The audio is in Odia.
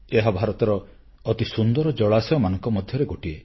ଏହା ଭାରତର ଅତି ସୁନ୍ଦର ଜଳାଶୟମାନଙ୍କ ମଧ୍ୟରେ ଗୋଟିଏ